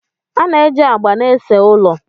A na-eji agba na-ese ụlọ